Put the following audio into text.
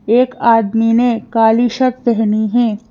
एक आदमी ने काली शर्ट पहनी है।